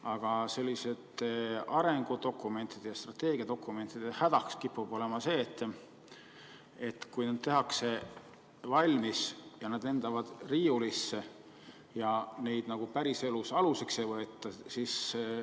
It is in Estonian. Aga selliste arengudokumentide ja strateegiadokumentide häda kipub olema see, et kui need tehakse valmis ja nad lendavad riiulisse, siis neid nagu päriselus aluseks ei võeta.